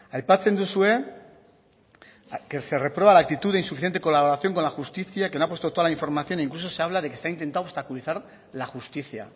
aipatzen duzue que se reprueba la actitud de insuficiente colaboración con la justicia que no ha puesto toda la información incluso se habla de que se ha intentado obstaculizar la justicia